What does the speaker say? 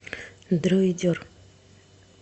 дроидер